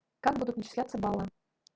как будут начисляться баллы